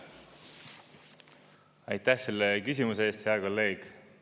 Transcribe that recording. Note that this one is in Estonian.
Aitäh selle küsimuse eest, hea kolleeg!